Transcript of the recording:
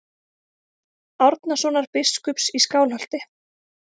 Árnasonar biskups í Skálholti.